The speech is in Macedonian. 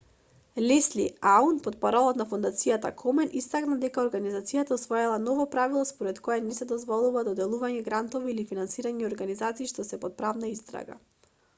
лесли аун портпарол на фондацијата комен истакна дека организацијата усвоила ново правило според кое не се дозволува доделување грантови или финансирање организации што се под правна истрага